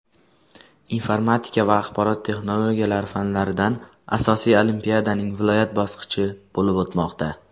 informatika va axborot texnologiyalari fanlaridan asosiy olimpiadaning viloyat bosqichi bo‘lib o‘tmoqda.